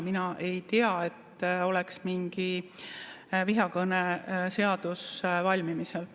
Mina ei tea, et oleks mingi vihakõneseadus valmimisel.